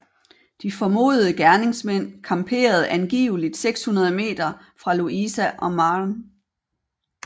De formodede gerningsmænd camperede angiveligt 600 meter fra Louisa og Maren